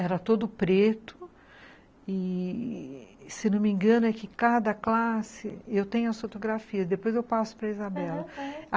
Era todo preto e, se não me engano, é que cada classe... Eu tenho as fotografias, depois eu passo para a Isabela, aham, aham.